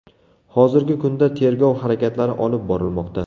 Hozirgi kunda tergov harakatlari olib borilmoqda.